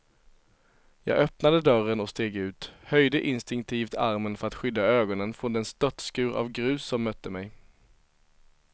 Jag öppnade dörren och steg ut, höjde instinktivt armen för att skydda ögonen från den störtskur av grus som mötte mig.